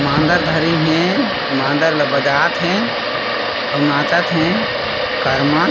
मांदर धरिन हे मांदर ला बजात हे आऊ नाचत हे कर्मा--